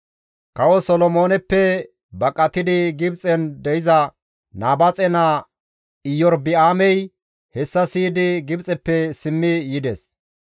Kawo Solomooneppe baqatidi Gibxen de7iza Nabaaxe naa Iyorba7aamey hessa siyidi Gibxeppe simmi yides.